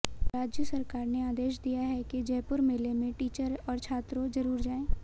राज्य सरकार ने आदेश दिया है कि जयपुर मेले में टीचर और छात्रों जरुर जाए